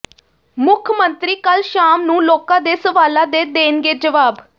ਮੁੱਖ ਮੰਤਰੀ ਕੱਲ੍ਹ ਸ਼ਾਮ ਨੂੰ ਲੋਕਾਂ ਦੇ ਸਵਾਲਾਂ ਦੇ ਦੇਣਗੇ ਜਵਾਬ